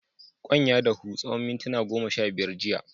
Kwan ya dahu tsawan muntuna goma sha biyar jiya.